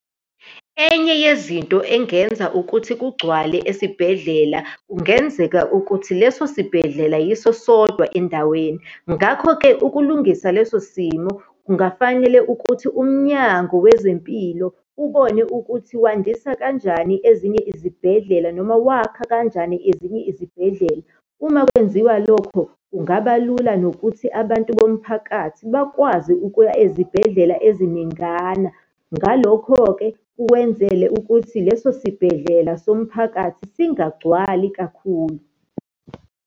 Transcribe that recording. Enye yezinto engenza ukuthi kugcwale esibhedlela, kungenzeka ukuthi leso sibhedlela yiso sodwa endaweni. Ngakho-ke ukulungisa leso simo, kungafanele ukuthi umnyango wezempilo ubone ukuthi wandisa kanjani ezinye izibhedlela, noma wakha kanjani ezinye izibhedlela. Uma kwenziwa lokho, kungaba lula nokuthi abantu bomphakathi bakwazi ukuya ezibhedlela eziningana. Ngalokho-ke kwenzele ukuthi leso sibhedlela somphakathi singagcwali kakhulu.